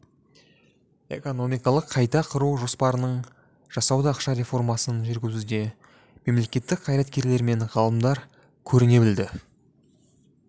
экономикалық қайта құру жоспарын жасауда ақша реформасын жүргізуде мемлекеттік қайраткерлер мен ғалымдар көріне білді